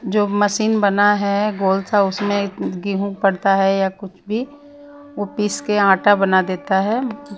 जो मशीन बना है गोल सा उसमें उ गेंहू पड़ता है या कुछ भी ओ पीस के आटा बना देता है।